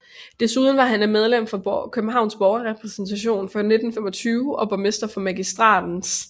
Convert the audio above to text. Desuden var han medlem af Københavns Borgerrepræsentation fra 1925 og borgmester for Magistratens 1